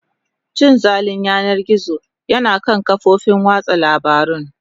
Cin zalin yanar gizo yana kan kafofin watsa labarun.